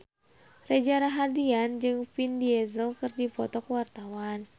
Reza Rahardian jeung Vin Diesel keur dipoto ku wartawan